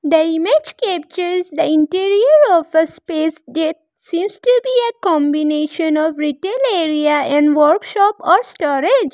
The image captures the interior of a space that seems to be a combination of retail area and workship or storage.